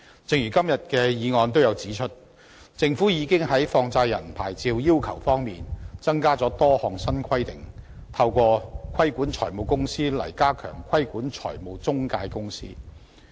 正如今天議案也有指出，政府已在放債人牌照要求上增加了多項新規定，透過規管財務公司來加強規管中介公司。